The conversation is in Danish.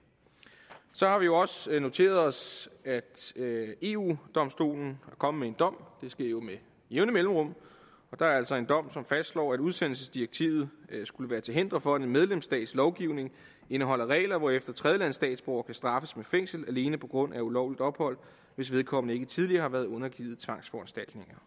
så har vi også noteret os at eu domstolen er kommet med en dom det sker jo med jævne mellemrum og der er altså kommet en dom som fastslår at udsendelsesdirektivet er til hinder for at en medlemsstats lovgivning indeholder regler hvorefter tredjelandsstatsborgere kan straffes med fængsel alene på grund af ulovligt ophold hvis vedkommende ikke tidligere har været undergivet tvangsforanstaltninger